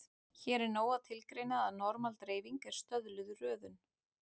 Hér er nóg að tilgreina að normal-dreifing er stöðluð röðun.